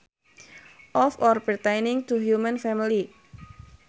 Of or pertaining to human family